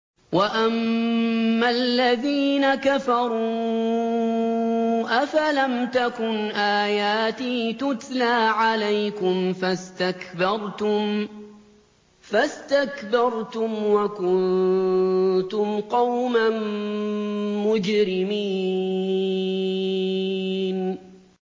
وَأَمَّا الَّذِينَ كَفَرُوا أَفَلَمْ تَكُنْ آيَاتِي تُتْلَىٰ عَلَيْكُمْ فَاسْتَكْبَرْتُمْ وَكُنتُمْ قَوْمًا مُّجْرِمِينَ